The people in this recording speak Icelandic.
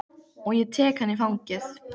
Og ég tek hana í fangið.